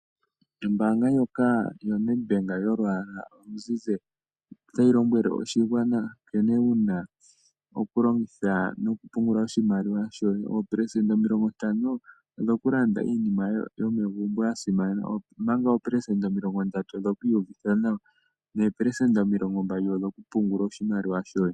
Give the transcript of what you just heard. Ombaanga ndyoka yaNedbank yolu yala oluzizi ,otayi lombwele oshigwana nkene una okulongitha nokupungula oshimaliwa shoye. Ooperecenta omilongo ntano odhoku landa iinima yomegumbo yasimana ,ompanga ooperecenta omilongo ndatu odhoku iwuvitha nawa nee perecenta omilongo mbali odhoku pungula oshimaliwa shoye.